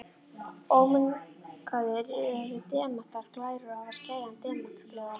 Ómengaðir eru demantar glærir og hafa skæran demantsgljáa.